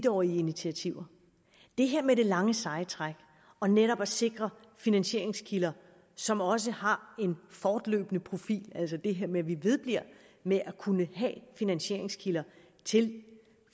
årige initiativer det her med det lange seje træk og netop at sikre finansieringskilder som også har en fortløbende profil altså det her med at vi vedbliver med at kunne have finansieringskilder til